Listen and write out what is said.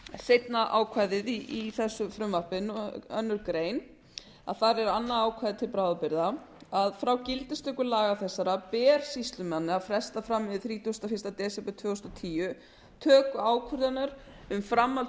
seinna ákvæðið í þessu frumvarpi annarrar greinar þar er annað ákvæði til bráðabirgða að frá gildistöku laga þessara ber sýslumanni að fresta fram yfir þrítugasta og fyrsta desember tvö þúsund og tíu töku ákvörðunar um framhald